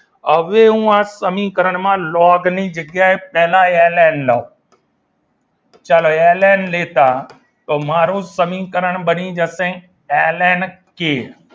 હવે હું આ સમીકરણની અંદર લોગની જગ્યાએ પહેલાં લવ ચાલો એલએન લેતા તો મારું સમીકરણ બની જશે એલ એન કે